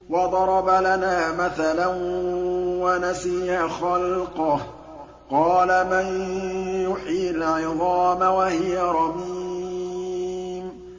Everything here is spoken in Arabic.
وَضَرَبَ لَنَا مَثَلًا وَنَسِيَ خَلْقَهُ ۖ قَالَ مَن يُحْيِي الْعِظَامَ وَهِيَ رَمِيمٌ